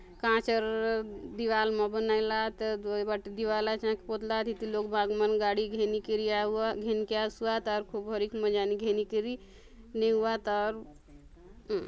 कांच र दीवाल मा बनाय ला आत अ उ एबाटे दीवाल आचे हंके खोदला आत इति लोग बाग मन गाड़ी घेनीकरि आउ आ घेनके आसुआत अउर खूब हरिक मजा ने घेनी करि नेऊआत आउर उम्म --